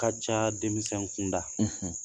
Ka ca denmisɛn kunda